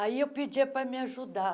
Aí eu pedia para me ajudar.